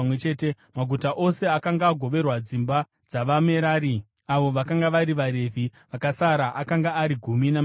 Maguta ose akanga agoverwa dzimba dzavaMerari, avo vakanga vari vaRevhi vakasara, akanga ari gumi namaviri.